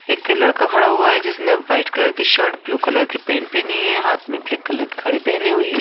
एक लड़का खड़ा हुआ है जिसने व्हाइट कलर की शर्ट ब्लू कलर के पेंट पहनी है हाथ में ब्लैक कलर की खड़ी पहनी हुई है।